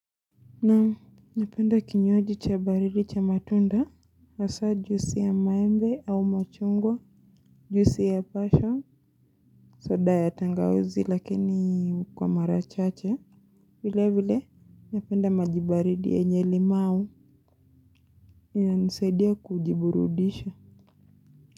Naam, napenda kinywaji cha baridi cha matunda, wasa jusi ya maembe au machungwa, juisi ya pasion, soda ya tangawazi lakini ukwa marachache. Vile vile, napenda majibaridi yenye limau inanisaidia kujiburudisha.